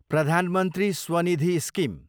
प्रधान मन्त्री स्वनिधि स्किम